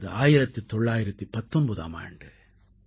அது 1919ஆம் ஆண்டு